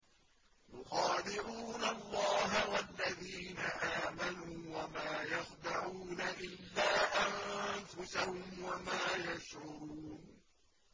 يُخَادِعُونَ اللَّهَ وَالَّذِينَ آمَنُوا وَمَا يَخْدَعُونَ إِلَّا أَنفُسَهُمْ وَمَا يَشْعُرُونَ